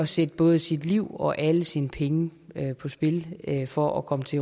sætte både sit liv og alle sine penge på spil for at komme til